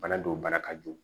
Bana dɔw bana ka jugu